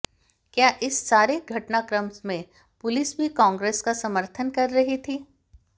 क्या इस सारे घटनाक्रम में पुलिस भी कांग्रेस का समर्थन कर रही थी